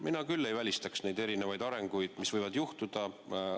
Mina küll ei välistaks midagi, mis võib juhtuda.